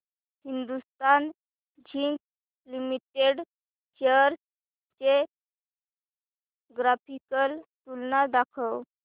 Hindustan zinc limited shares ची graphical तुलना दाखव